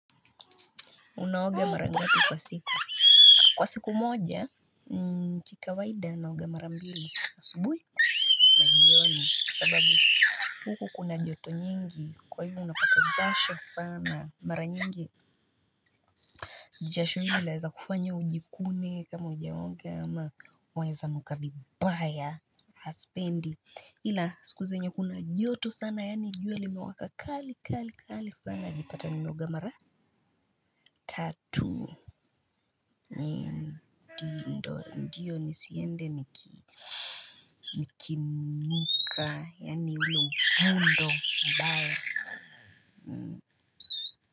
Unaoga mara ngapi kwa siku. Kwa siku moja kika waida naoga marambili asubuhi na jioni kwa sababu huku kuna joto nyingi kwa hivo unapata jasho sana. Mara nyingi jasho ili laweza kufanya ujikune kama ujaoge ama weza nuka vibaya. Haspendi ila siku zenye kuna joto sana yani jua limewaka kali kali kali sana najipata nimeoga mara tatu. Ndiyo nisiende niki nika ya nilu hundo mbae.